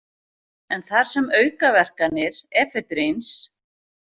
En þar sem aukaverkanir efedríns.